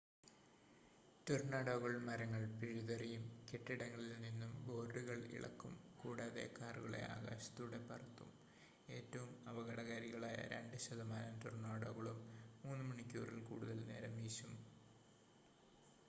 ടൊർണാഡോകൾ മരങ്ങൾ പിഴുതെറിയും കെട്ടിടങ്ങളിൽ നിന്നും ബോർഡുകൾ ഇളക്കും കൂടാതെ കാറുകളെ ആകാശത്തൂടെ പറത്തും ഏറ്റവും അപകടകാരികളായ 2 ശതമാനം ടൊർണാഡോകളും 3 മണിക്കൂറിൽ കൂടുതൽ നേരം വീശും